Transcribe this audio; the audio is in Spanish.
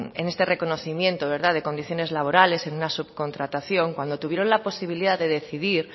en este reconocimiento de condiciones laborales en una subcontratación cuando tuvieron la posibilidad de decidir